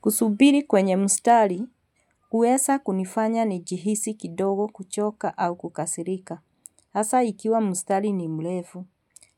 Kusubiri kwenye mustari, huesa kunifanya nijihisi kidogo kuchoka au kukasirika. Hasa ikiwa mustari ni mlefu.